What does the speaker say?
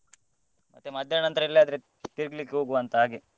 ಮತ್ತೆ ಮಧ್ಯಾಹ್ನ ನಂತ್ರ ಎಲ್ಲಿಯಾದ್ರೂ ತಿರ್ಗ್ಲಿಕ್ಕೆ ಹೋಗುವ ಅಂತ ಹಾಗೆ.